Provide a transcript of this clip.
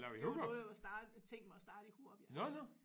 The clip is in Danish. Det var noget jeg var starte tænkt mig at starte i Hurup ja